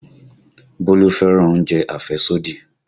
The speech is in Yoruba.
Bólú fẹ́ràn oúnjẹ àfẹ́sódì